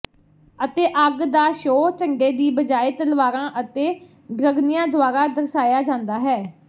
ਅਤੇ ਅੱਗ ਦਾ ਸ਼ੋਅ ਝੰਡੇ ਦੀ ਬਜਾਏ ਤਲਵਾਰਾਂ ਅਤੇ ਡ੍ਰਗਨਿਆਂ ਦੁਆਰਾ ਦਰਸਾਇਆ ਜਾਂਦਾ ਹੈ